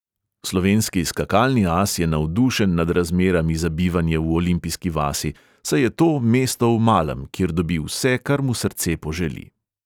Slovenski skakalni as je navdušen nad razmerami za bivanje v olimpijski vasi, saj je to mesto v malem, kjer dobi vse, kar mu srce poželi.